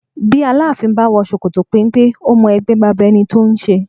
Bí Aláàfin bá wò ṣòkòtò penpe, ó mọ ẹgbẹ́ baba ẹni tó ń ṣe